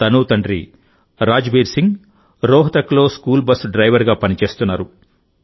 తనూ తండ్రి రాజ్బీర్ సింగ్ రోహ్తక్లో స్కూల్ బస్ డ్రైవర్ గా పనిచేస్తున్నారు